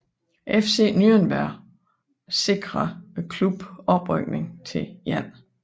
FC Nürnberg og sikrede klubben oprykning til 1